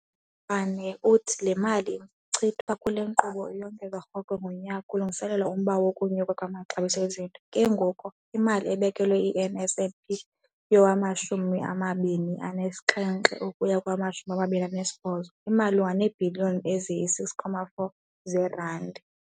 Uthi le mali ichithwa kule nkqubo iyongezwa rhoqo ngonyaka kulungiselelwa umba wokunyuka kwamaxabiso ezinto, ke ngoko imali ebekelwe i-NSNP yowama-2017 ukuya kowama-2018 imalunga neebhiliyoni eziyi-6.4 zeerandi.